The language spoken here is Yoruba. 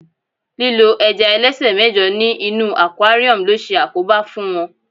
lílo ẹja ẹlẹsẹ mẹjọ ní inú aquarium lo se àkóbá fún wón